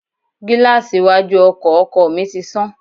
Gíláàsì iwájú ọkọ̀ ọkọ mi ti sán